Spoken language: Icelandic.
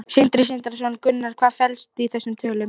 Sindri Sindrason: Gunnar, hvað felst í þessum tölum?